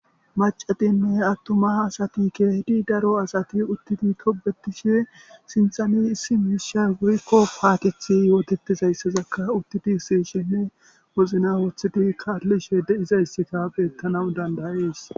macatinne attuma hasati keehidi daro asati uttidi kobetishe sinthani issi miishay goykko paatethi yootettizayssazakka uttidi sishinne mozna woothidi kaallishe deizayssika beettanawu dandayees.